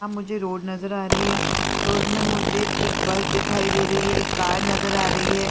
यहाँ मुझे रोड नज़र आ रही है रोड में मुझे एक बस दिखाई दे रही है एक कार नज़र आ रही है।